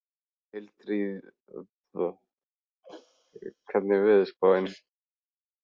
Hildiríður, hvernig er veðurspáin?